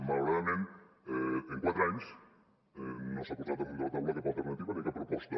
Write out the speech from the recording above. malauradament en quatre anys no s’ha posat damunt de la taula cap alternativa ni cap proposta